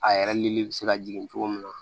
A yɛrɛ lili bɛ se ka jigin cogo min na